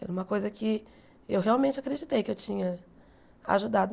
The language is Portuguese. Era uma coisa que eu realmente acreditei que eu tinha ajudado.